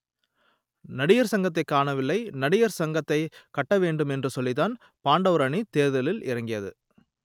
நடிகர் சங்கத்தை காணவில்லை நடிகர் சங்கத்தை கட்ட வேண்டும் என்று சொல்லித்தான் பாண்டவர் அணி தேர்தலில் இறங்கியது